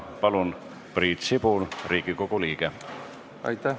Palun, Priit Sibul, Riigikogu liige!